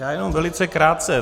Já jenom velice krátce.